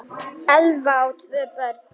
Elva á tvö börn.